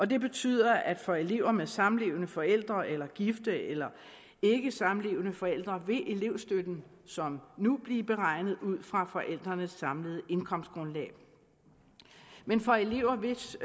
det betyder at for elever med samlevende forældre eller gifte eller ikkesamlevende forældre vil elevstøtten som nu blive beregnet ud fra forældrenes samlede indkomstgrundlag men for elever hvis